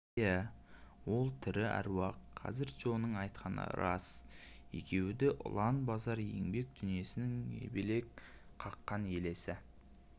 иә ол тірі аруақ қазір джоның айтқаны рас екеуі де ұлан-базар еңбек дүниесінің ебелек қаққан елесі